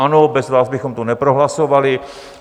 Ano, bez vás bychom to neprohlasovali.